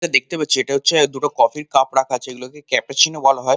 দেখতে পাচ্ছি দুটো কফি কাপ রাখা আছে এটাকে ক্যাফেচিনো বলা হয়।